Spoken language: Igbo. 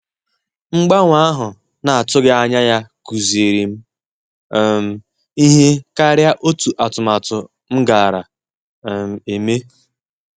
Mgbanwe ahụ na-atughi anya ya kụziri m um ihe karia otu atụmatụ m gara um eme